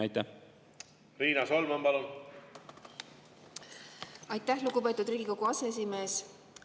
Aitäh, lugupeetud Riigikogu aseesimees!